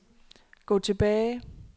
gå tilbage